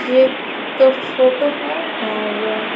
ये एक फोटो है और --